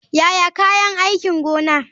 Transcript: Yaya kayan aikin gona.